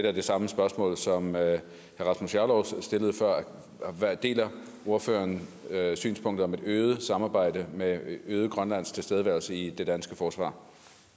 er det samme spørgsmål som herre rasmus jarlov stillede før deler ordføreren synspunktet om et øget samarbejde med øget grønlandsk tilstedeværelse i det danske forsvar